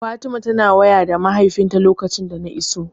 Fatima tana waya da mahaifinta lokacin da na iso.